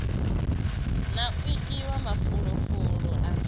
na u ewa mafulufulu a